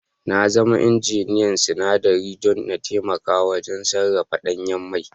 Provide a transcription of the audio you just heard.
Na zama injiniyan sinadarai don in taimaka wajen sarrafa danyen mai